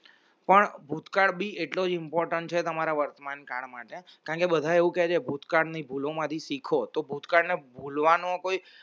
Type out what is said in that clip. પણ ભૂતકાળ ભી એટલો important છે તમારા વર્તમાનકાળ માટે કારણ કે બધા એવું કે છે ભૂતકાળની ભૂલોમાંથી શીખો તો ભૂતકાળના ભૂલવાનો કોઈ